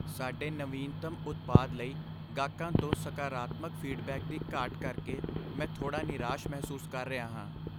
ਸਾਡੇ ਨਵੀਨਤਮ ਉਤਪਾਦ ਲਈ ਗਾਹਕਾਂ ਤੋਂ ਸਕਾਰਾਤਮਕ ਫੀਡਬੈਕ ਦੀ ਘਾਟ ਕਰਕੇ ਮੈਂ ਥੋੜ੍ਹਾ ਨਿਰਾਸ਼ ਮਹਿਸੂਸ ਕਰ ਰਿਹਾ ਹਾਂ।